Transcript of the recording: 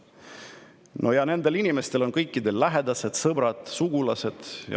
No ja nendel inimestel on kõikidel lähedased, sõbrad ja sugulased.